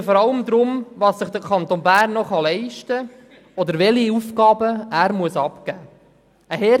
Wir diskutieren vor allem, was sich der Kanton Bern noch leisten kann oder welche Aufgaben er abgeben muss.